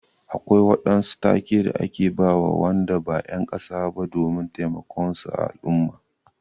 Akwai waɗansu take da ake bawa Wanda ba en kasa ba domin taimakon su a al'umma.